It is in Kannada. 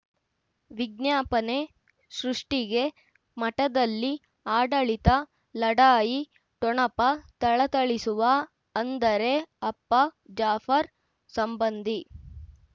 ವಿಜ್ಞಾಪನೆ ಸೃಷ್ಟಿಗೆ ಮಠದಲ್ಲಿ ಆಡಳಿತ ಲಢಾಯಿ ಠೊಣಪ ಥಳಥಳಿಸುವ ಅಂದರೆ ಅಪ್ಪ ಜಾಫರ್ ಸಂಬಂಧಿ